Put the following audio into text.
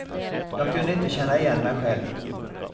Jag kunde inte känna igen mig själv.